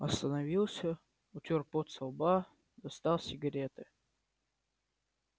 остановился утёр пот со лба достал сигареты